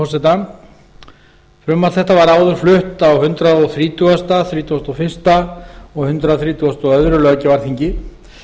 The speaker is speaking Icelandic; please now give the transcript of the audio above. með leyfi forseta frumvarp þetta var áður flutt á hundrað þrítugasta hundrað þrítugasta og fyrsta og hundrað þrítugasta og öðrum löggjafarþingi